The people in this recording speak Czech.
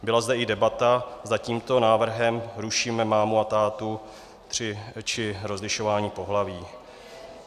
Byla zde i debata, zda tímto návrhem rušíme mámu a tátu, či rozlišování pohlaví.